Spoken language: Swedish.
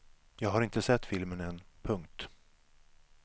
Jag har inte sett filmen än. punkt